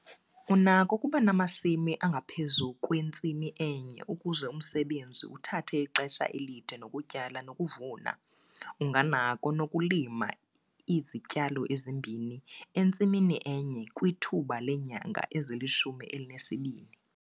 Unakho ukuba namasimi angaphezu kwentsimi enye ukuze umsebenzi uthathe ixesha elide lokutyala nelokuvuna., Unganakho nokulima izityalo ezibini entsimini enye kwithuba leenyanga ezilishumi elinesibini.